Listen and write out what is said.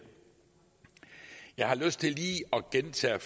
jeg har lyst til lige at gentage